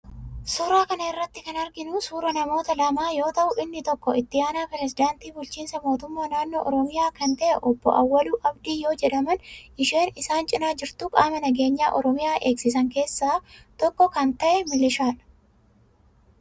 Suuraa kana irratti kan arginu suuraa namoota lamaa yoo ta'u, inni tokko itti aanaa pirezidaantii bulchiinsa mootummaa naannoo Oromiyaa kan ta'e obbo Awwaluu Abdii yoo jedhaman, isheen isaan cina jirtu qaama nageenya Oromiyaa eegsisan keessaa tokko kan ta'e milishaadha.